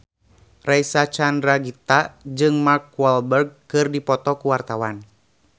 Reysa Chandragitta jeung Mark Walberg keur dipoto ku wartawan